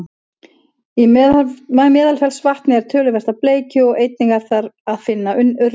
í meðalfellsvatni er töluvert af bleikju og einnig er þar að finna urriða